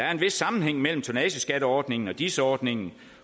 er en vis sammenhæng mellem tonnageskatteordningen og dis ordningen